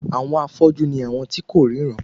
Àwọn afọ́jú ni àwọn tí kò ríran